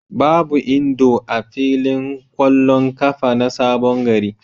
Babu Indo a filin ƙwallon ƙafa na Sabon gari.